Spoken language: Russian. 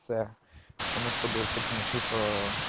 потому что был секс меньшинства